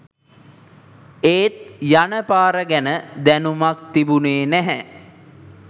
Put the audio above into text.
ඒත් යන පාර ගැන දැනුමක් තිබුනේ නැහැ